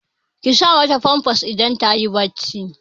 Ki sa ma ta famfas idan ta yi barci!